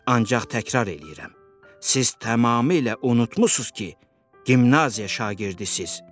Ancaq təkrarlayıram, siz tamamilə unudubsuz ki, gimnaziya şagirdisiz.